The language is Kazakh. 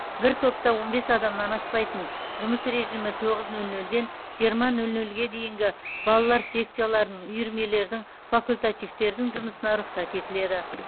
бір топта он бес адамнан аспайтын жұмыс режимі тоғыз нөл нөлден жиырма нөл нөлге дейінгі балалар секцияларының үйірмелердің факультативтердің жұмысына рұқсат етіледі